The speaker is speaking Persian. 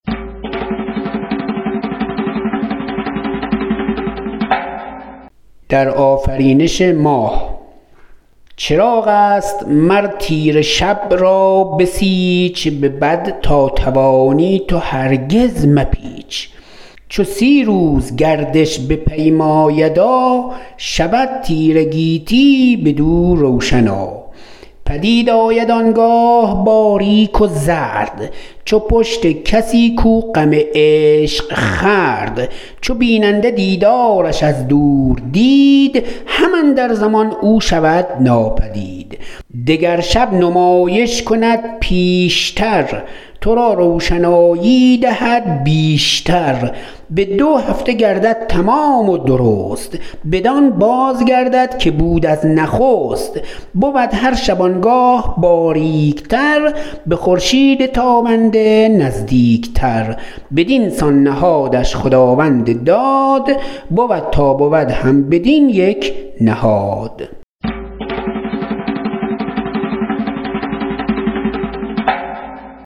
چراغ است مر تیره شب را بسیچ به بد تا توانی تو هرگز مپیچ چو سی روز گردش بپیمایدا شود تیره گیتی بدو روشنا پدید آید آنگاه باریک و زرد چو پشت کسی کو غم عشق خورد چو بیننده دیدارش از دور دید هم اندر زمان او شود ناپدید دگر شب نمایش کند بیش تر تو را روشنایی دهد بیش تر به دو هفته گردد تمام و درست بدان باز گردد که بود از نخست بود هر شبانگاه باریک تر به خورشید تابنده نزدیک تر بدینسان نهادش خداوند داد بود تا بود هم بدین یک نهاد